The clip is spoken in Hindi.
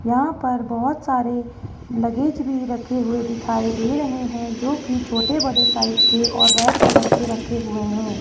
यहां पर बहोत सारे लगेज भी रखे हुए दिखाई दे रहे हैं जो कि छोटे बड़े साइज के और रेड कलर के रखे हुए हैं।